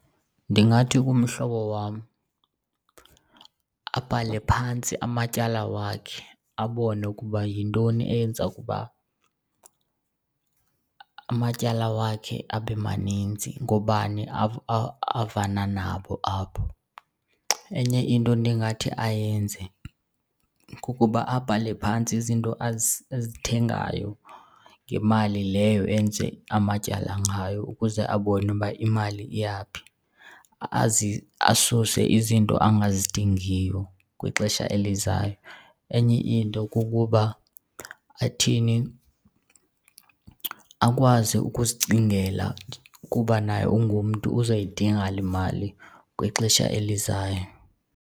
Ndingathi kumhlobo wam abhale phantsi amatyala wakhe abone ukuba yintoni eyenza ukuba amatyala wakhe abe maninzi, ngoobani avana nabo apho. Enye into endingathi ayenze kukuba abhale phantsi izinto azithengayo ngemali leyo enze amatyala ngayo ukuze abone uba imali iya phi asuse izinto angazidingiyo kwixesha elizayo. Enye into kukuba athini akwazi ukuzicingela ukuba naye ungumntu uzoyidinga le mali kwixesha elizayo.